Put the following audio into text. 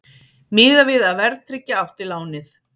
Miðað við að verðtryggja átti lánið